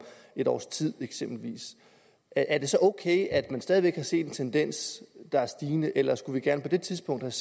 et års tid eksempelvis er det så ok at man stadig væk kan se en tendens der er stigende eller skulle vi gerne på det tidspunkt